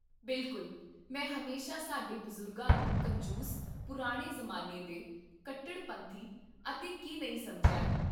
ਬਿਲਕੁਲ, ਮੈਂ ਹਮੇਸ਼ਾ ਸਾਡੇ ਬਜ਼ੁਰਗਾਂ ਨੂੰ ਕੰਜੂਸ, ਪੁਰਾਣੇ ਜ਼ਮਾਨੇ ਦੇ, ਕੱਟੜਪੰਥੀ, ਅਤੇ ਕਿ ਨਹੀਂ ਸਮਝਿਆ ਹੈ